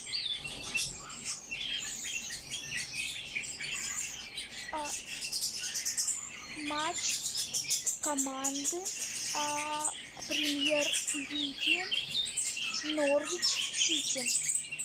а матч команды премьер лиги норвич сити